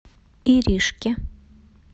иришке